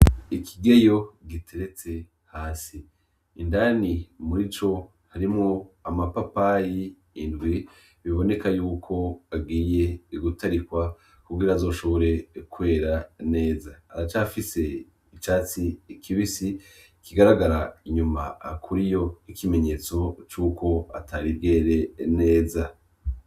Ikigeyo giteretse hasi, indani murico harimwo amapapayi indwi biboneka yuko agiye gutarikwa kugira azoshobore kwera neza, aracafise icatsi kibisi kigaragara inyuma kuriyo nk'ikimenyetso cuko atari bwere neza.